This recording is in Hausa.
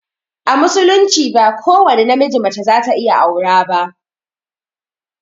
A musulunci ba ko wani na miji mace za ta iya aura ba